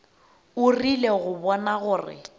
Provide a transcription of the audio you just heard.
o rile go bona gore